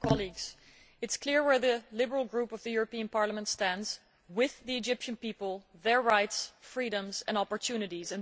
Mr President, it is clear where the Liberal Group of the European Parliament stands with the Egyptian people, their rights, freedoms and opportunities.